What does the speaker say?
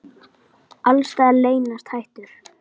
Alls staðar leynast hættur.